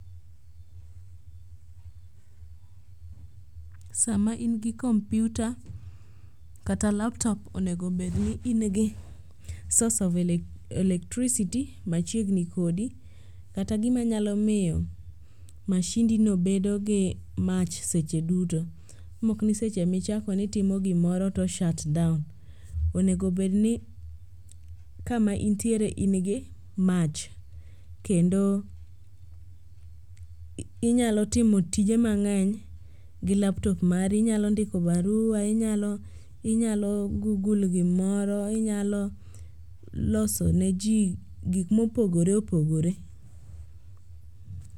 Sama in gi kompiuta kata laptop onego bedni ingi source of electricity machiegni kodi kata gima nyalo miyo mashindino bedogi mach seche duto mokni seche michako ni itimo gimoro to o shut down. Onego bedni kama intiere in gi mach kendo inyal timo tije mang'eny gi laptop mari inyalo ndiko barua, inyal google gimoro, inyalo loso ne ji gik mopogore opogore.